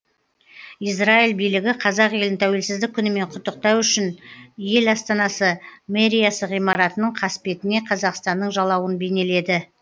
израиль билігі қазақ елін тәуелсіздік күнімен құттықтау үшін ел астанасы мэриясы ғимаратының қасбетіне қазақстанның жалауын бейнеледі